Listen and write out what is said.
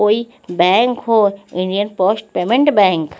कोई बैंक हो Indian post payment bank --